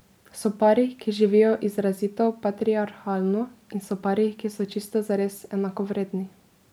So pari, ki živijo izrazito patriarhalno, in so pari, ki so čisto zares enakovredni.